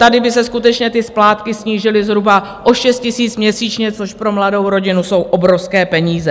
Tady by se skutečně ty splátky snížily zhruba o 6 000 měsíčně, což pro mladou rodinu jsou obrovské peníze.